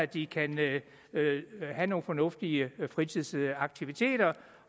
de kan have nogle fornuftige fritidsaktiviteter